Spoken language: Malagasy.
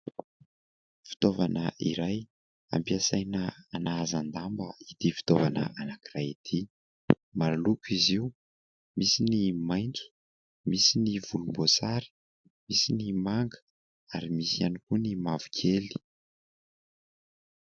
Fitaovana iray ampiasaina anahazan-damba ity fitaovana anankiray ity. Maro loko izy io, misy ny maintso, misy ny volomboasary, misy koa ny manga ary misy ihany koa ny mavokely.